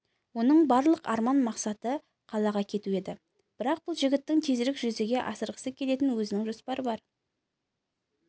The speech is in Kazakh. оның барлық арман мақсаты қалаға кету еді бірақ бұл жігіттің тезірек жүзеге асырғысы келетін өзінің жоспары бар